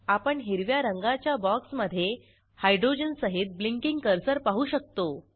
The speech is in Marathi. आपण हिरव्या रंगाच्या बॉक्समधे हायड्रोजन सहित ब्लिंकींग कर्सर पाहू शकतो